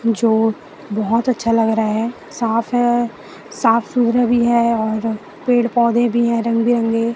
बहोत अच्छा लग रहा है साफ है साफ भी है और पेड़ पौधे भी है रंग बिरंगे।